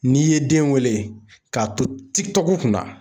N'i ye den wele k'a to tikitɔku kunna